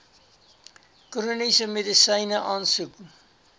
chroniese medisyne aansoek